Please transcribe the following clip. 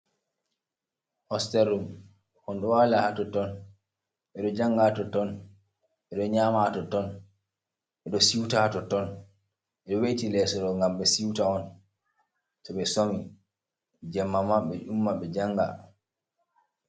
Hosterrum. ondowala haton ton, bedo jangato ton, bedo nyama toton, bedo siuta toton, edo we'eti lesoro gam be siuta on to be somi, jammama be do umma be janga.